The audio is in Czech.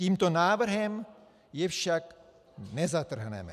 Tímto návrhem je však nezatrhneme.